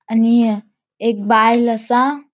आणि य एक बायल असा.